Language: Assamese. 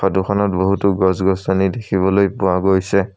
ফটো খনত বহুতো গছ-গছ দেখিবলৈ পোৱা গৈছে।